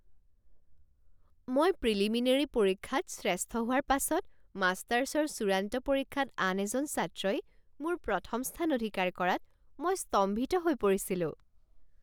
মই প্ৰিলিমিনেৰী পৰীক্ষাত শ্ৰেষ্ঠ হোৱাৰ পাছত মাষ্টাৰছৰ চূড়ান্ত পৰীক্ষাত আন এজন ছাত্ৰই মোৰ প্ৰথম স্থান অধিকাৰ কৰাত মই স্তম্ভিত হৈ পৰিছিলোঁ।